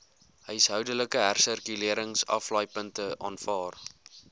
huishoudelike hersirkuleringsaflaaipunte aanvaar